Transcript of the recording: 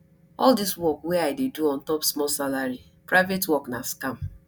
all dis work wey i dey do ontop small salary private work na scam